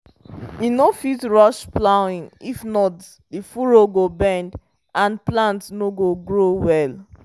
you no fit rush plowing if not the furrow go bend and plant no go grow well.